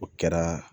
O kɛra